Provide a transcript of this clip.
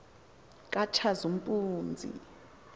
katshazimpunzi